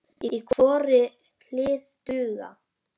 á hvorri hlið duga.